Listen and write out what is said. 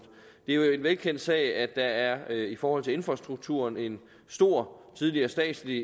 det er jo en velkendt sag at der i forhold til infrastrukturen er en stor tidligere statslig